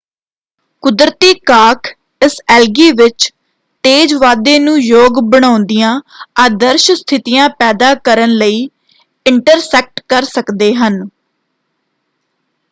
ਕੁਦਰਤੀ ਕਾਰਕ ਇਸ ਐਲਗੀ ਵਿੱਚ ਤੇਜ਼ ਵਾਧੇ ਨੂੰ ਯੋਗ ਬਣਾਉਂਦਿਆਂ ਆਦਰਸ਼ ਸਥਿਤੀਆਂ ਪੈਦਾ ਕਰਨ ਲਈ ਇੰਟਰਸੈਕਟ ਕਰ ਸਕਦੇ ਹਨ।